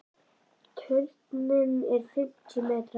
Turninn er fimmtíu metra hár.